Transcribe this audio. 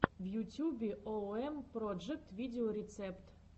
в ютюбе оуэм проджэкт видеорецепт